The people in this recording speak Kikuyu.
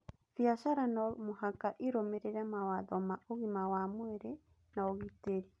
Biacara no mũhaka ĩrũmĩrĩre mawatho ma ũgima wa mwĩrĩ na ũgitĩri.